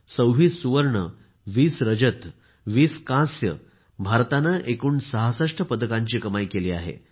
26 सुवर्ण 20 रजत 20 कांस्य भारताने एकूण 66 पदकांची कमाई केली आहे